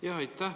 Aitäh!